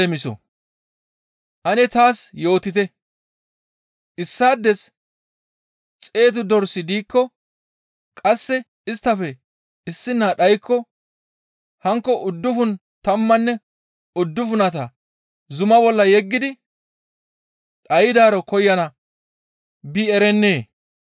«Ane taas yootite, issaades xeetu dorsi diikko qasse isttafe issina dhaykko, hankko uddufun tammanne uddufunata zuma bolla yeggidi dhaydaaro koyana bi erennee?